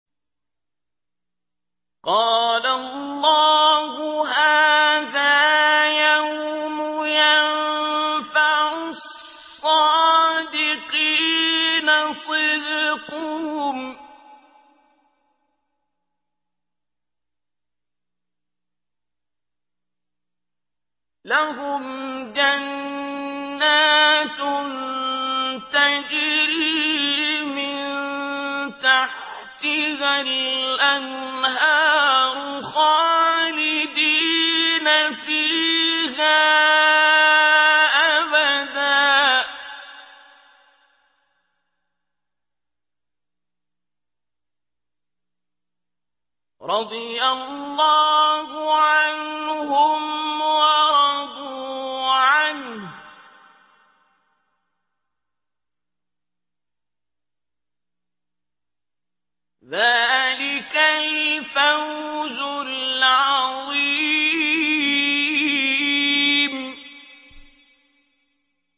قَالَ اللَّهُ هَٰذَا يَوْمُ يَنفَعُ الصَّادِقِينَ صِدْقُهُمْ ۚ لَهُمْ جَنَّاتٌ تَجْرِي مِن تَحْتِهَا الْأَنْهَارُ خَالِدِينَ فِيهَا أَبَدًا ۚ رَّضِيَ اللَّهُ عَنْهُمْ وَرَضُوا عَنْهُ ۚ ذَٰلِكَ الْفَوْزُ الْعَظِيمُ